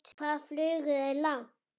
Hvað flugu þeir langt?